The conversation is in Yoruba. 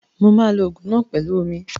Mo ma lo Ògùn náà pẹlu ú omi